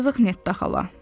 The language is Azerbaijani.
Yazıq Netta xala.